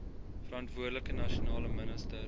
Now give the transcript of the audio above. verantwoordelike nasionale minister